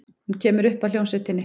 Hún kemur upp að hljómsveitinni.